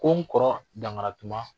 Ko n kɔrɔ Dankaratuma